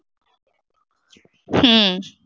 ਹੂੰ।